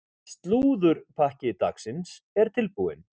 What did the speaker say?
Slúðurpakki dagsins er tilbúinn.